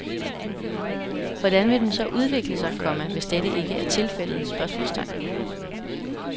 Hvordan vil den så udvikle sig, komma hvis dette ikke er tilfældet? spørgsmålstegn